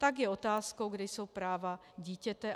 Tak je otázkou, kde jsou práva dítěte.